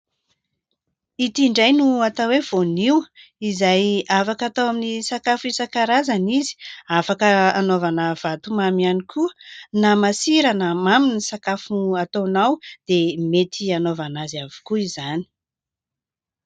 Ity indray no atao hoe voanio izay afaka atao amin'ny sakafo isan-karazany izy, afaka hanaovana vatomamy ihany koa na masira na mamy ny sakafo hataonao dia mety hanaovana azy avokoa izany.